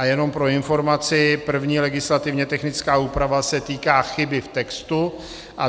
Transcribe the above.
A jenom pro informaci, první legislativně technická úprava se týká chyby v textu a